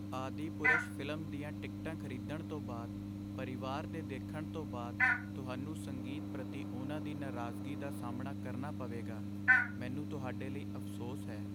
Adipurush film ਦੀਆਂ ਟਿਕਟਾਂ ਖ਼ਰੀਦਣ ਤੋਂ ਬਾਅਦ, ਪਰਿਵਾਰ ਦੇ ਦੇਖਣ ਤੋਂ ਬਾਅਦ ਤੁਹਾਨੂੰ ਸੰਗੀਤ ਪ੍ਰਤੀ ਉਹਨਾਂ ਦੀ ਨਾਰਾਜ਼ਗੀ ਦਾ ਸਾਹਮਣਾ ਕਰਨਾ ਪਵੇਗਾ। ਮੈਨੂੰ ਤੁਹਾਡੇ ਲਈ ਅਫ਼ਸੋਸ ਹੈ।